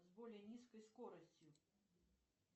с более низкой скоростью